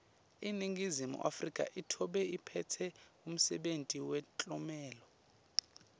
iningizimu afrika itobe iphetse umsebenti wemtlomelo